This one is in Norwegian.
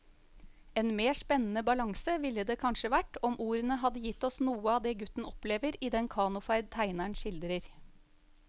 En mer spennende balanse ville det kanskje vært om ordene hadde gitt oss noe av det gutten opplever i den kanoferd tegneren skildrer.